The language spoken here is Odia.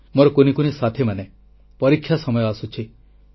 ମୋର କୁନି କୁନି ସାଥୀମାନେ ପରୀକ୍ଷା ସମୟ ଆସୁଛି